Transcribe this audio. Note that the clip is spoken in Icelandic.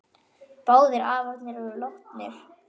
Báðir afarnir eru látnir.